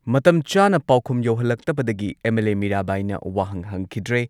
ꯃꯇꯝ ꯆꯥꯅ ꯄꯥꯎꯈꯨꯝ ꯌꯧꯍꯜꯂꯛꯇꯕꯗꯒꯤ ꯑꯦꯝ.ꯑꯦꯜ.ꯑꯦ. ꯃꯤꯔꯥꯕꯥꯏꯅ ꯋꯥꯍꯪ ꯍꯪꯈꯤꯗ꯭ꯔꯦ꯫